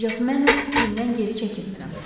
Ancaq mən öz fikrimdən geri çəkilmirəm.